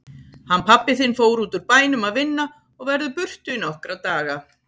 Hann pabbi þinn fór útúr bænum að vinna og verður burtu í nokkra daga.